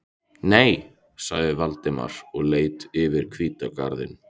Nei- sagði Valdimar og leit yfir hvítan garðinn.